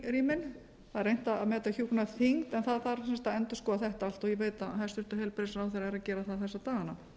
er reynt að meta hjúkrunarþyngd en það þarf sem sagt að endurskoða þetta allt og ég veit að hæstvirtur heilbrigðisráðherra er að gera það þessa